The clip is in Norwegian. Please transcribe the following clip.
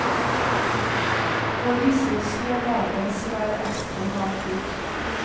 For disse slår dagens vær ekstra hardt ut.